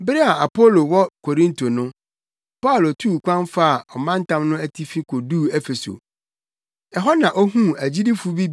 Bere a Apolo wɔ Korinto no, Paulo tuu kwan faa ɔmantam no atifi koduu Efeso. Ɛhɔ na ohuu agyidifo bi